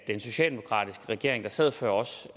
den socialdemokratiske regering der sad før os